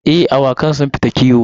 Eh, awakan sun fita kiwo.